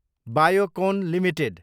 Biocon Ltd